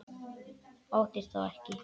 Óttist þó ekki.